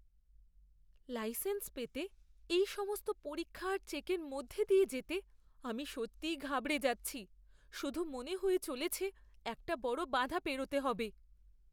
Licence পেতে এই সমস্ত পরীক্ষা আর চেকের মধ্য দিয়ে যেতে আমি সত্যিই ঘাবড়ে যাচ্ছি। শুধু মনে হয়ে চলেছে একটা বড় বাধা পেরোতে হবে!